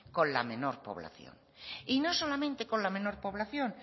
con la menor población y no solamente con la menor población